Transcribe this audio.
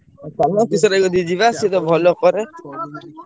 ଆଉ ଚାଲୁନ କିଶୋର ଭାଇ କତିକି ଯିବା ସେତ ଭଲ କରେ।